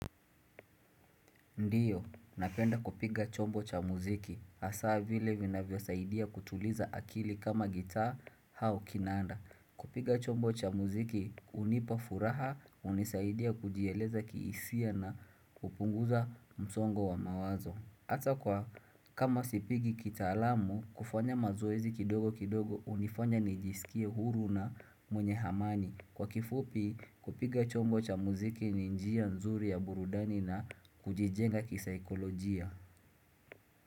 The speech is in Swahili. Ndiyo, napenda kupiga chombo cha muziki. Haswa vile vinavyosaidia kutuliza akili kama gita au kinanda. Kupiga chombo cha muziki, hunipa furaha, hunisaidia kujieleza kiisia na kupunguza msongo wa mawazo. Hata kwa kama sipigi kitaalamu, kufanya mazoezi kidogo kidogo, hunifanya nijisikie huru na mwenye amani. Kwa kifupi kupiga chombo cha muziki ni njia nzuri ya burudani na kujijenga kisaikolojia.